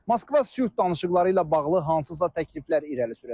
Moskva sülh danışıqları ilə bağlı hansısa təkliflər irəli sürəcək.